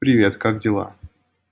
привет как дела